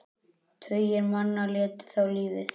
Tugir manna létu þá lífið.